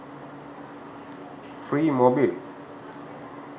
free mobil